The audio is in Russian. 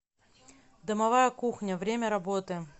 домовая кухня время работы